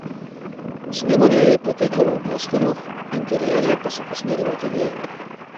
Snemanje je potekalo v Bostonu, interierje pa so posneli v ateljeju.